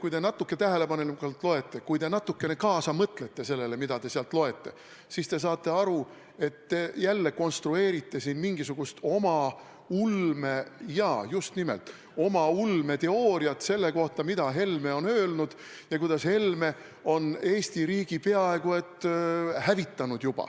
Kui te natukene tähelepanelikumalt loete, kui te natukene kaasa mõtlete sellele, mida te sealt loete, siis te saate aru, et te konstrueerite siin jälle mingisugust oma ulmeteooriat – just nimelt ulmeteooriat – selle kohta, mida Helme on öelnud ja kuidas Helme on Eesti riigi juba peaaegu hävitanud.